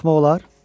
Baxmaq olar?